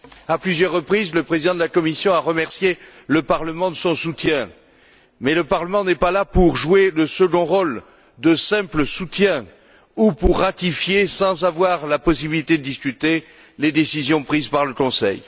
À plusieurs reprises, le Président de la Commission a remercié le Parlement de son soutien, mais le Parlement n'est pas là pour jouer le second rôle de simple soutien ou pour ratifier sans avoir la possibilité de discuter les décisions prises par le Conseil.